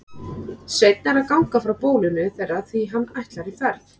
Sveinn er að ganga frá bólinu þeirra því hann ætlar í ferð.